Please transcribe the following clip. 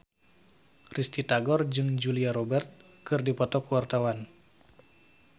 Risty Tagor jeung Julia Robert keur dipoto ku wartawan